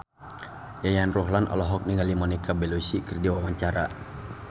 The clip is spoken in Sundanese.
Yayan Ruhlan olohok ningali Monica Belluci keur diwawancara